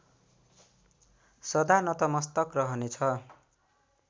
सदा नतमस्तक रहनेछ